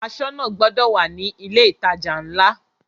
Aṣọ́nà gbọdọ̀ wà ní ilé ìtajà ńlá.